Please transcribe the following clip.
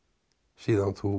síðan þú